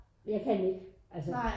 Jeg kan ikke altså